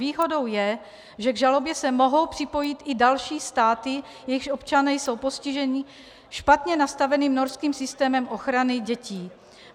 Výhodou je, že k žalobě se mohou připojit i další státy, jejichž občané jsou postiženi špatně nastaveným norským systémem ochrany dětí.